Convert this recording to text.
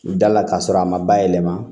Da la k'a sɔrɔ a ma bayɛlɛma